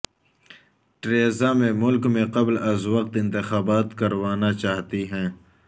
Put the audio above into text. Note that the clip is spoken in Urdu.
ٹریزا مے ملک میں قبل از وقت انتخابات کروانا چاہتی ہیں